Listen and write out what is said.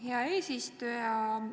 Hea eesistuja!